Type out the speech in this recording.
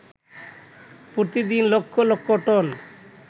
প্রতিদিন লক্ষ লক্ষ টন